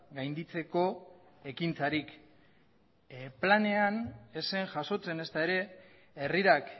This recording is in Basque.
gainditzeko ekintzarik planean ez zen jasotzen ezta ere herrirak